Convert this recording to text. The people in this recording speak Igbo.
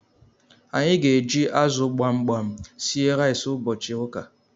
Anyi g'eji azu gbamgbam sie rice ubochi uka